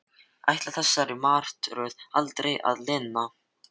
Ætlaði þessari martröð aldrei að linna?